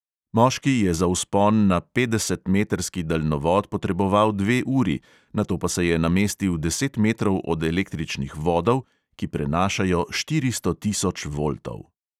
Moški je za vzpon na petdesetmetrski daljnovod potreboval dve uri, nato pa se je namestil deset metrov od električnih vodov, ki prenašajo štiristo tisoč voltov.